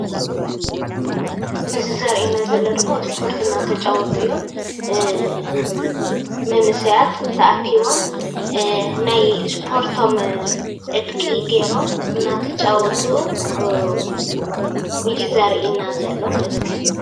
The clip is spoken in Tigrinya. እዚ ዘርእየና ዘሎ ድማ እስፖርት እንዳተጫወቱ እዮም፡፡ መንእሰያት ተኣኪቦም ናይ እስፖርቶም ዕጥቂ ገይሮም እንዳተጫወቱ እዩ ዘርእየና ዘሎ ማለት እዩ፡፡